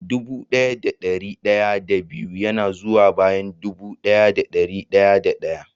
Dubu daya da dari daya da biyu yana zuwa bayan dubu daya da dari daya da daya.